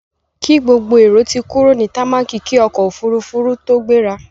Kí gbogbo èrò ti kúrò ní támákì kí ọkọ̀-òfurufú tó gbéra!